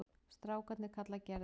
Strákarnir kalla Gerði